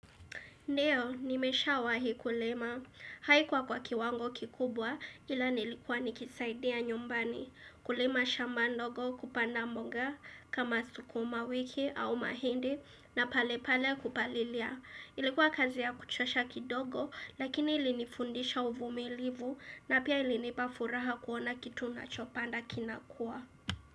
Ndio, nimeshawahi kulima. Haikuwa kwa kiwango kikubwa ila nilikuwa nikisaidia nyumbani. Kulima shama ndogo kupanda mbonga kama sukuma wiki au mahindi na pale pale kupalilia. Ilikuwa kazi ya kuchosha kidogo lakini ilinifundisha uvumilivu na pia ilinipafuraha kuona kitu nachopanda kinakua.